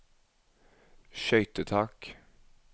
skøytetak